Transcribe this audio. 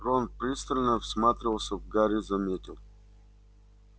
рон пристально всматривался в гарри заметил